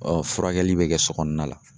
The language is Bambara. furakɛli bɛ kɛ sokɔnɔna la.